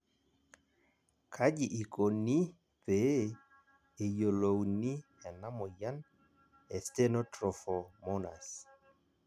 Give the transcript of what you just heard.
Kaji ikoni pee eyiolouni ena amoyian e Stenotrophomonas?